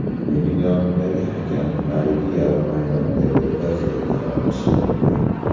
Mening yonimdagi hakam narigi yarim maydondagi vaziyatga aralashyapti.